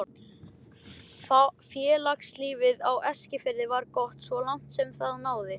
Félagslífið á Eskifirði var gott svo langt sem það náði.